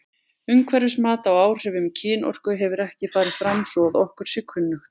Umhverfismat á áhrifum kynorku hefur ekki farið fram svo að okkur sé kunnugt.